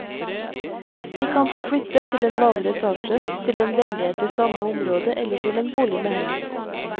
De kan få flytte til en lavere etasje, til en leilighet i samme område eller til en bolig med heis.